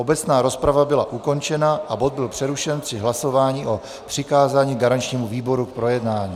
Obecná rozprava byla ukončena a bod byl přerušen při hlasování o přikázání garančnímu výboru k projednání.